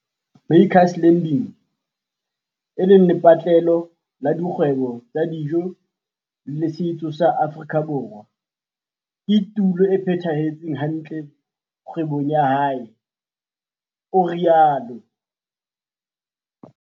Makers Landing, e leng lepatlelo la dikgwebo tsa dijo le setso sa Afrika Borwa, ke tulo e phethahetseng hantle kgwebong ya hae, o rialo.